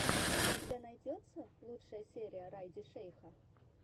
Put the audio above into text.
у тебя найдется лучшая серия райди шейха